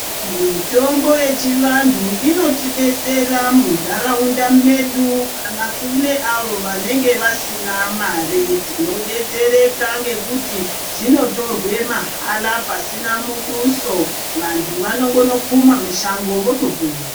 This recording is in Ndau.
Mitombo yechivantu inotidetsera mundaraunda medu kana kune avo vanenge vasina mari tinodetsereka ngekuti zvinotorwe mahala pasina muduso vantu vanondongokuma mushango votopona.